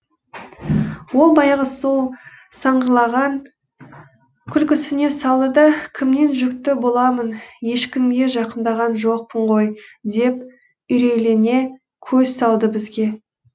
ол баяғы сол сыңғырлаған күлкісіне салды да кімнен жүкті боламын ешкімге жақындаған жоқпын ғой деп үрейлене көз салды бізге